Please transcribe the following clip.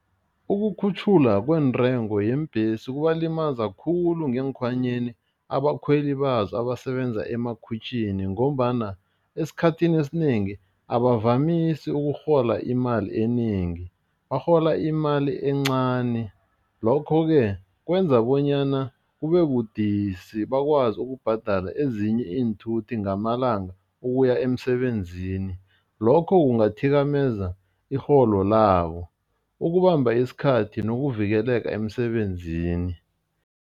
Ukukhutjhulwa kwentengo yeembhesi kubalimaza khulu ngeekhwanyeni abakhweli bazo abasebenza emakhwitjhini ngombana esikhathini esinengi abavamisi ukurhola imali enengi, barhola imali encani lokho ke kwenza bonyana kube budisi bakwazi ukubhadala ezinye iinthuthi ngamalanga ukuya emsebenzini, lokho kungathikameza irholo labo, ukubamba isikhathi nokuvikeleka emsebenzini.